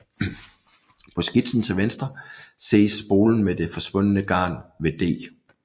På skitsen til venstre ses spolen med det forspundne garn ved D